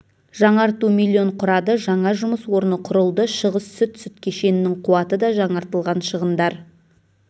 жаңарту млн құрады жаңа жұмыс орны құрылды шығыс сүт сүт кешенінің қуаты да жаңартылған шығындар